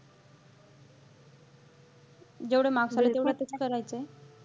जेवढे marks आहेत तेवढ्यातच करायचं आहे.